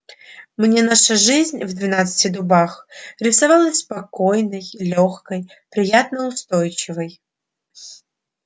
мне наша жизнь в двенадцати дубах рисовалась спокойной лёгкой приятно-устойчивой